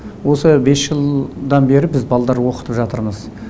осы бес жылдан бері біз балдар оқытып жатырмыз